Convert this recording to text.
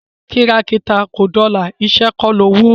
kìràkìtà ò dọlà, iṣẹ́ kọ́ ní owó